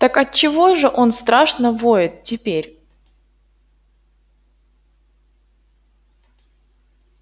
так отчего же он страшно воет теперь